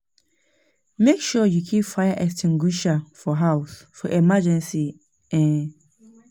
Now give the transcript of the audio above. Make sure you keep fire extinguisher for house, for emergency. um